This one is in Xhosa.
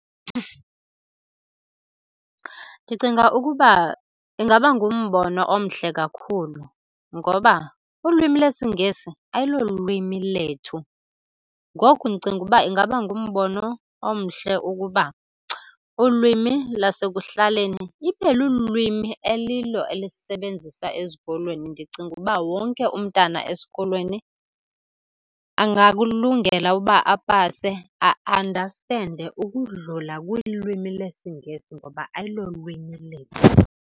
Ndicinga ukuba ingaba ngumbono omhle kakhulu ngoba ulwimi lwesiNgesi ayilo lwimi lethu. Ngoku ndicinga uba ingaba ngumbono omhle ukuba ulwimi lasekuhlaleni ibe lulwimi elilo elisebenzisa ezikolweni. Ndicinga uba wonke umntana esikolweni angakulungela ukuba apase a-andastende ukudlula kwilwimi lesiNgesi ngoba ayilo lwimi lethu.